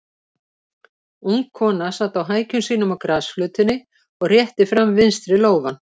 Ung kona sat á hækjum sínum á grasflötinni og rétti fram vinstri lófann.